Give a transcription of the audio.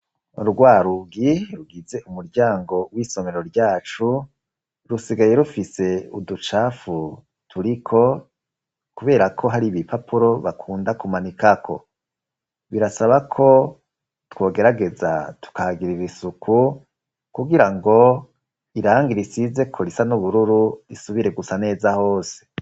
Urwarugi rugize umuryango w'isomero ryacu rusigaye rufise uducafu turiko, kubera ko hari ibi papuro bakunda kumanikako birasaba ko twogerageza tukagira ibisuku kugira ngo iranga risize koria aniubururu isubire gusa neza hose.